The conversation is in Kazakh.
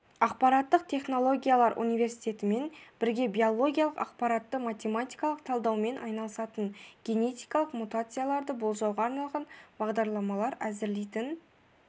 ақпараттық технологиялар университетімен бірге биологиялық ақпаратты математикалық талдаумен айналысатын генетикалық мутацияларды болжауға арналған бағдарламалар әзірлейтін